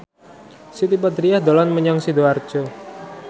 Siti Badriah dolan menyang Sidoarjo